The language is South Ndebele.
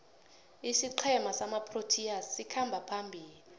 isiqhema samaproteas sikhamba phambili